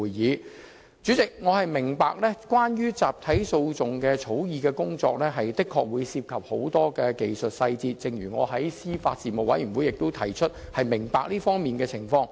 代理主席，我明白關於集體訴訟的法律草擬工作的確涉及很多技術細節，正如我在司法及法律事務委員會會議上指出，我對這方面的情況表示理解。